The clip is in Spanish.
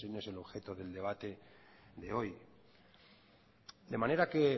ese no es el objeto del debate de hoy de manera que